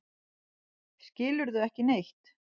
Skilurðu ekki neitt?